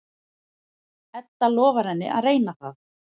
Edda lofar henni að reyna það.